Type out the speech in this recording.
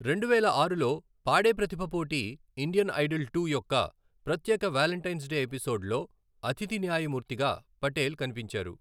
రెండువేల ఆరులో, పాడే ప్రతిభ పోటీ ఇండియన్ ఐడల్ టు యొక్క ప్రత్యేక వాలెంటైన్స్ డే ఎపిసోడ్లో అతిథి న్యాయమూర్తిగా పటేల్ కనిపించారు.